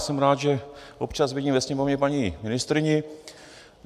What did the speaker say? Jsem rád, že občas vidím ve Sněmovně paní ministryni.